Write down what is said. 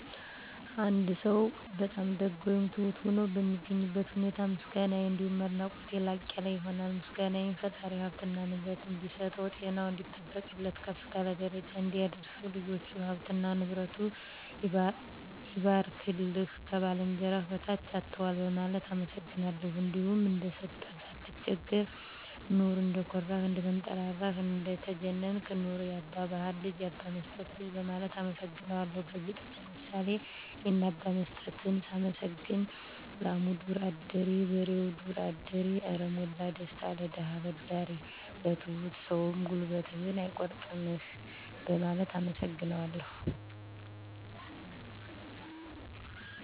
አንድ ሰው በጣም ደግ ወይም ትሁት ሆኖ በማገኝበት ሁኔታ ምስጋናየ አንዲሁም አድናቆቴ ላቅ ያለ ይሆናል። ምስጋናየም ፈጣሪ ሀብትና ንብረት እንዲሰጠው፣ ጤናውን እንዲጠብቅለት፣ ከፍ ካለ ደረጃ እንዲያደርሰው፣ ልጆቹ፥ ሀብትና ንብረቱ ይባርክልህ፣ ከባልንጀራህ በታች አትዋል በማለት አመሰግናለሁ። እንዲሁም እንደሰጠህ ሳይቸግርህ ኑር፣ እንደኮራህ፥ እንደተንጠራራህ እንደተጀነንክ ኑር፣ ያባ ባሀር ልጅ፥ ያባ መስጠት ልጅ በማለት አመሰግነዋለሁ። በግጥምም ለምሳሌ የነ አባ መስጠትን ሳመሰግን፦ ላሙ ዱር አዳሪ በሬው ዱር አዳሪ አረ ሞላ ደስታ ለደሀ አበዳሪ። ለትሁት ሰውም ጉልበትህን አይቆርጥምህ በማለት አመሰግነዋለሁ።